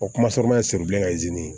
O kumasɔrɔ ye siri bilen kazini